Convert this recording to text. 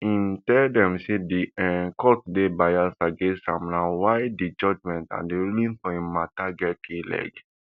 im tell dem say di um court dey biased against am na why di judgement and ruling for im mata get kleg